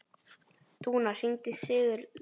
Dúnn, hringdu í Sigurlöð.